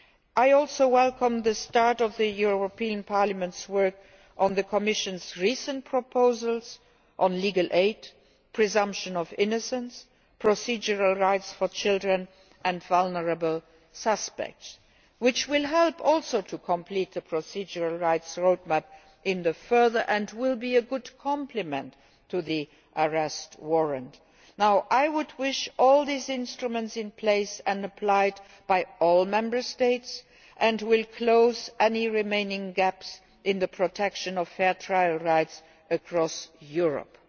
that. I also welcome the start of the European Parliament's work on the Commission's recent proposals on legal aid, presumption of innocence, procedural rights for children and vulnerable suspects, which will also help to complete the procedural rights roadmap in the future and will be a good complement to the European Arrest Warrant. I would like to see all these instruments in place and being applied by all Member States and I wish to close any remaining gaps in the protection of fair trial rights across